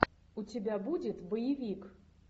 у тебя будет боевик